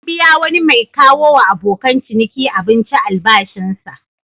An biya wani mai kawowa abokan ciniki abinci albashinsa.